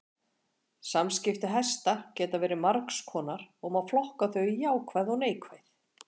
Samskipti hesta geta verið margs konar og má flokka þau í jákvæð og neikvæð.